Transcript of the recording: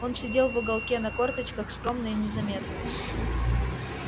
он сидел в уголке на корточках скромно и незаметно